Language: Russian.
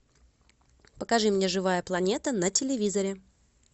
покажи мне живая планета на телевизоре